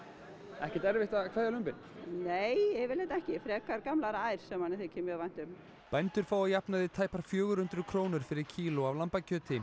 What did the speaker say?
ekkert erfitt að kveðja lömbin nei yfirleitt ekki frekar gamlar ær sem manni þykir mjög vænt um bændur fá að jafnaði tæpar fjögur hundruð krónur fyrir kíló af lambakjöti